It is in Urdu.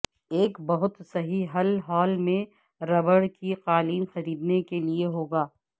ایک بہت صحیح حل ہالے میں ربڑ کی قالین خریدنے کے لئے ہوگا